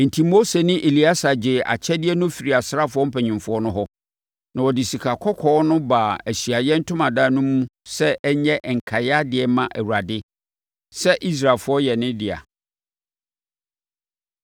Enti Mose ne Eleasa gyee akyɛdeɛ no firii asraafoɔ mpanimfoɔ no hɔ, na wɔde sikakɔkɔɔ no baa Ahyiaeɛ Ntomadan no mu sɛ ɛnyɛ nkaeɛ adeɛ mma Awurade sɛ Israelfoɔ yɛ ne dea.